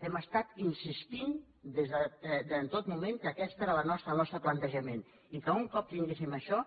hem estat insistint en tot moment que aquest era el nostre plantejament i que un cop tinguéssim això